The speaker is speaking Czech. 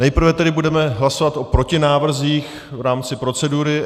Nejprve tedy budeme hlasovat o protinávrzích v rámci procedury.